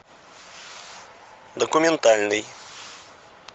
документальный